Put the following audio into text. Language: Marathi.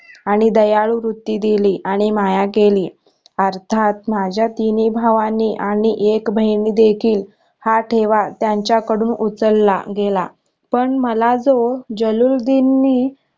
आणि दयाळू वृत्ती दिली आणि माया केली अर्थात माझ्या तिनी भावांनी आणि एक बहिण देखील हा ठेवा त्यांच्या कडून उचलला गेला पण मला जो जल्लूलुद्धीननी